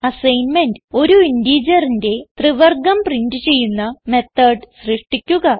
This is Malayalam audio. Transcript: അസൈൻമെന്റ് ഒരു ഇന്റിജറിന്റെ ത്രിവർഗം പ്രിന്റ് ചെയ്യുന്ന മെത്തോട് സൃഷ്ടിക്കുക